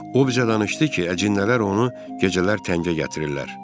O bizə danışdı ki, əcinlər onu gecələr təngə gətirirlər.